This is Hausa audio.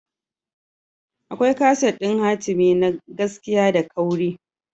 Akwai kaset ɗin hatimi na gaskiya da kauri.